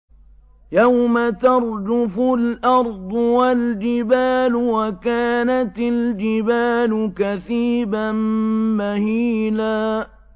يَوْمَ تَرْجُفُ الْأَرْضُ وَالْجِبَالُ وَكَانَتِ الْجِبَالُ كَثِيبًا مَّهِيلًا